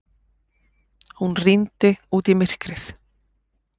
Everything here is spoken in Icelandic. Hún rýndi út í myrkrið.